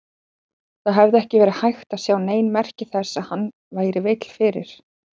Það hafði ekki verið hægt að sjá nein merki þess að hann væri veill fyrir.